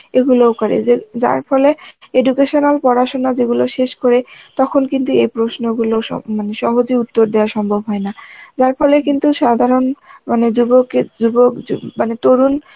এগুলও করে যে যার ফলে educational পড়াশোনা যে গুলো শেষ করে তখন কিন্তু এ প্রশ্নগুলো সব মানে সহজে উত্তর দেয়া সম্ভব হয় না যার ফলে কিন্তু সাধারণ মানে যুবকে যুব~ মানে তরুণ